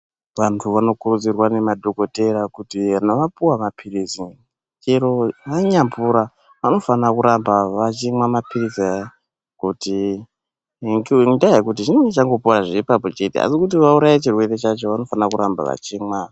Vantu vanokurudzirwa nemadhokodhera kuti kana vapuwa maphirizi chero vanya pora vanofanirwe kuramba vachinwa maphiritsi aya kutii, ngendaa yekuti zvinenge zvangopuwa ipapo chete asi kuti vauraye chirwere chacho vanofanire kuramba vachimwa.